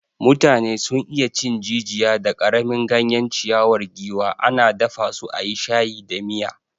Mutane sun iya cin jijiya da karamin ganyen ciyawar giwa, ana dafa su a yi shayi da miya.